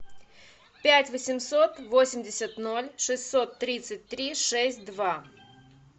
пять восемьсот восемьдесят ноль шестьсот тридцать три шесть два